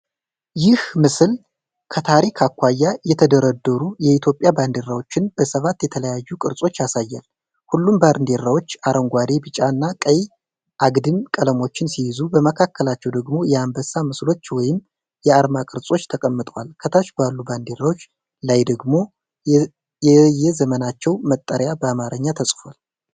ይህ ምስል ከታሪክ አኳያ የተደረደሩ የኢትዮጵያ ባንዲራዎችን በሰባት የተለያዩ ቅርጾች ያሳያል። ሁሉም ባንዲራዎች አረንጓዴ፣ ቢጫና ቀይ አግድም ቀለሞችን ሲይዙ፣ በመካከላቸው ደግሞ የአንበሳ ምስሎች ወይም የአርማ ቅርጾች ተቀምጠዋል። ከታች ባሉት ባንዲራዎች ላይ ደግሞ የየዘመናቸው መጠሪያ በአማርኛ ተጽፏል።